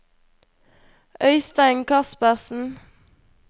Øystein Kaspersen